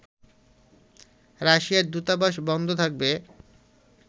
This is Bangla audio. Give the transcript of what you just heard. রাশিয়ার দূতাবাস বন্ধ থাকবে